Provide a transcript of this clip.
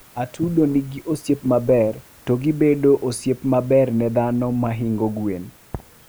atudo nigi osiep maber to gijobedo osiepe maber ne dhano mahingo gwen